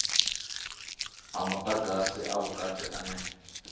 a mudagasi a vhukati ane